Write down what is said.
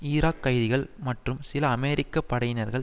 Iraq கைதிகள் மற்றும் சில அமெரிக்க படையினர்கள்